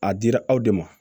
A dira aw de ma